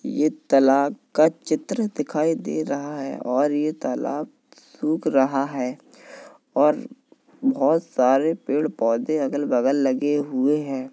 ये तलाब (तालाब) का चित्र दिखाई दे रहा है और ये तालाब सूख रहा है और बहोत सारे पेड़ पोधे अगल -बगल लगे हुए हैं।